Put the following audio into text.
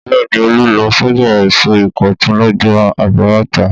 Bẹ́ẹ̀ ni, Olú lọ sọ́jà èso Ìkọ̀tún lọ́jọ́ àbámẹ́ta.